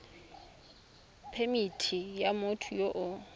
phemithi ya motho yo o